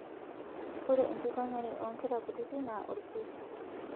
Ore enkikonyare oo nkera kutiti na olkesi